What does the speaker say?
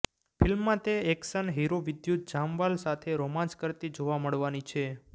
ફિલ્મમાં તે action hero Vidyut Jamwal સાથે રોમાન્સ કરતી જોવા મળવાની છે